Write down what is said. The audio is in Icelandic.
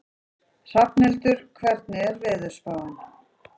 Hrafnhildur, hvernig er veðurspáin?